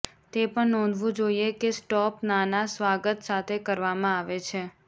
તે પણ નોંધવું જોઇએ કે સ્ટોપ નાના સ્વાગત સાથે કરવામાં આવે છે